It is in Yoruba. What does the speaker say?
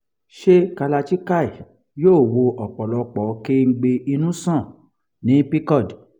ṣé kalarchikai yóò wo ọ̀pọ̀lọpọ kengbe inu sàn ní pcod?